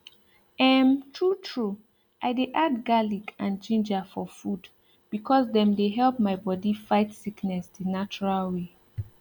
ermtrue true i dey add garlic and ginger for food because dem dey help my bodi fight sickness the natural way